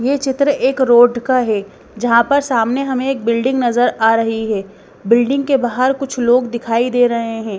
ये चित्र एक रोड का है जहाँ पर सामने हमें एक बिल्डिंग नजर आ रही है बिल्डिंग के बाहर कुछ लोग दिखाई दे रहे हैं।